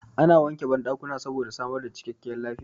Ana wanke banɗakuna saboda samar da cikakkiyar lafiya